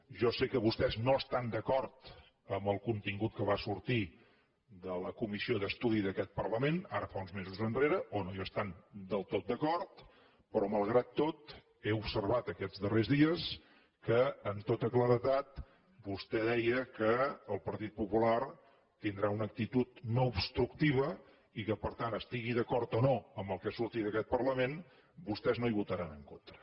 jo sé que vostès no estan d’acord amb el contingut que va sortir de la comissió d’estudi d’aquest parlament ara fa uns mesos enrere o no hi estan del tot d’acord però malgrat tot he observat aquests darrers dies que amb tota claredat vostè deia que el partit popular tindrà una actitud no obstructiva i que per tant estigui d’acord o no amb el que surti d’aquest parlament vostès no hi votaran en contra